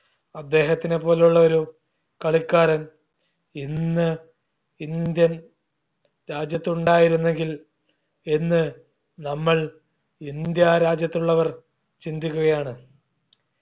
അദ്ദേഹത്തിനെ പോലുള്ളൊരു കളിക്കാരൻ ഇന്ന് indian രാജ്യത്തുണ്ടായിരുന്നെങ്കിൽ എന്ന് നമ്മൾ ഇന്ത്യ രാജ്യത്തുള്ളവർ ചിന്തിക്കുകയാണ്